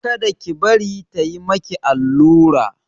Kada ki bari ta yi maki allura!